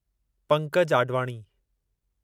Pankaj Advani